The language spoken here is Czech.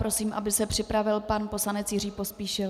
Prosím, aby se připravil pan poslanec Jiří Pospíšil.